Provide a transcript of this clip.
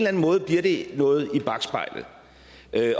anden måde bliver det noget i bakspejlet